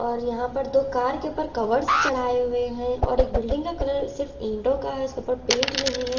और यहाँ पर दो कार के ऊपर कवर्स चढ़ाए हुए हैं और एक बिल्डिंग का कलर सिर्फ ईंटों का है उसके ऊपर पेंट नहीं है।